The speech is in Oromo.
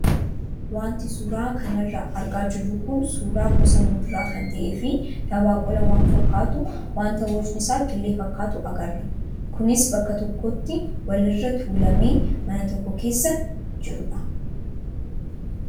Wanti suuraa kanarraa argaa jirru kun suuraa gosa muduraa kan ta'ee fi dabaaqula waan fakkaatu wanta bocni isaa killee fakkaatu agarra. Kunis bakka tokkotti walirra tuulamee mana tokko keessa jirudha.